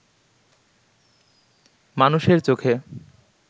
মানুষের চোখে